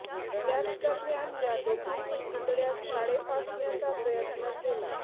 त्याच दरम्यान या दोघांनी पुतळय़ास काळे फासण्याचा प्रयत्न केला